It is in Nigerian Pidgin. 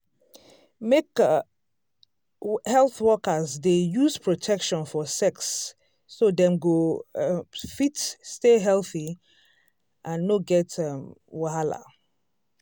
make um health workers dey use protection for sex so dem go um fit stay healthy and no get um wahala.